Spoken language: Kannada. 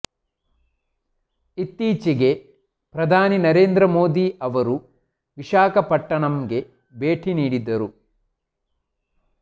ಇತ್ತೀಚೆಗೆ ಪ್ರಧಾನಿ ನರೇಂದ್ರ ಮೋದಿ ಅವರು ವಿಶಾಖಪಟ್ಟಣಂಗೆ ಭೇಟಿ ನೀಡಿದ್ದರು